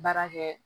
Baara kɛ